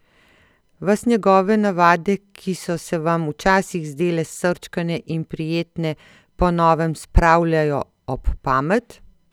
Vas njegove navade, ki so se vam včasih zdele srčkane in prijetne, po novem spravljajo ob pamet?